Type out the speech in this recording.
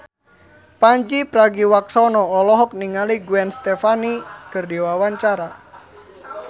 Pandji Pragiwaksono olohok ningali Gwen Stefani keur diwawancara